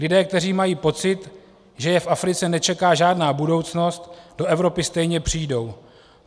Lidé, kteří mají pocit, že je v Africe nečeká žádná budoucnost, do Evropy stejně přijdou.